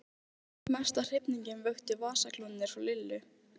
Guðmundur Einarsson frá Miðdal, Guðmundur Finnbogason landsbókavörður